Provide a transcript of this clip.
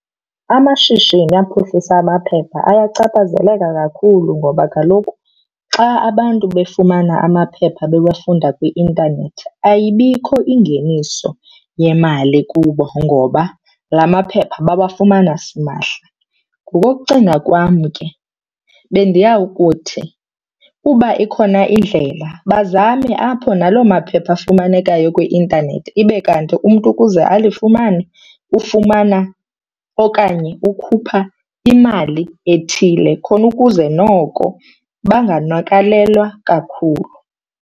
Amashishini aphuhlisa amaphepha ayachaphazeleka kakhulu ngoba kaloku xa abantu befumana amaphepha bewafunda kwi-intanethi ayibikho ingeniso yemali kubo ngoba la maphepha bawafumana simahla. Ngokokucinga kwam ke bendiyawukuthi uba ikhona indlela, bazame apho naloo maphepha afumanekayo kwi-intanethi. Ibe kanti umntu ukuze alifumane ufumana okanye ukhupha imali ethile khona ukuze noko banganakalelwa kakhulu.